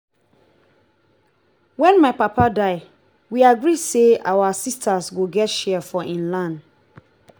wen my papa die we agree say our sisters go get share for im land